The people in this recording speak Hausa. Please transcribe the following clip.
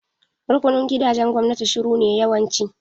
Rukunin gidajen gwamnati shuru ne yawanci.